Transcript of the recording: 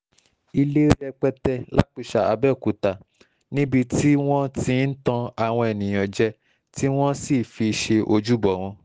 ilé rẹpẹtẹ lápiṣà àbẹ̀òkúta níbi tí wọ́n ti ń tan àwọn èèyàn jẹ tí wọ́n sì fi ṣe ojúbọ wọn